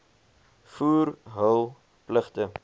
voer hul pligte